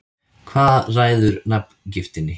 Hvað ræður nafngiftinni?